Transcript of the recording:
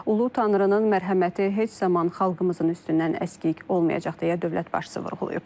Ulu tanrının mərhəməti heç zaman xalqımızın üstündən əskik olmayacaq deyə dövlət başçısı vurğulayıb.